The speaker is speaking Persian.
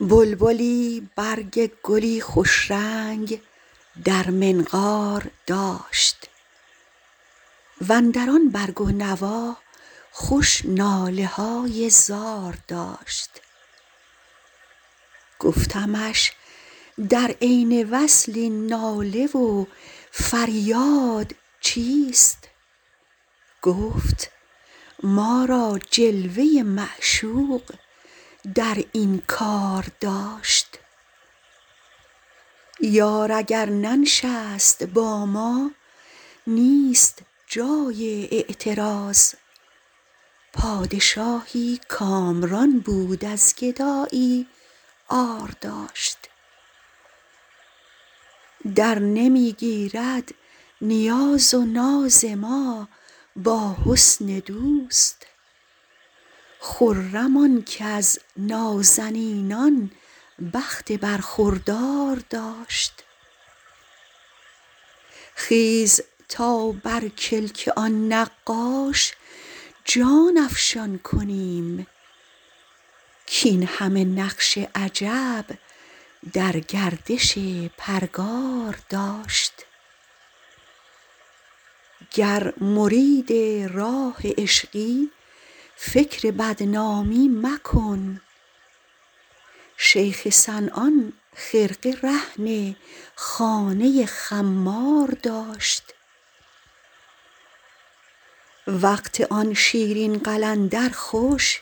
بلبلی برگ گلی خوش رنگ در منقار داشت و اندر آن برگ و نوا خوش ناله های زار داشت گفتمش در عین وصل این ناله و فریاد چیست گفت ما را جلوه ی معشوق در این کار داشت یار اگر ننشست با ما نیست جای اعتراض پادشاهی کامران بود از گدایی عار داشت درنمی گیرد نیاز و ناز ما با حسن دوست خرم آن کز نازنینان بخت برخوردار داشت خیز تا بر کلک آن نقاش جان افشان کنیم کاین همه نقش عجب در گردش پرگار داشت گر مرید راه عشقی فکر بدنامی مکن شیخ صنعان خرقه رهن خانه خمار داشت وقت آن شیرین قلندر خوش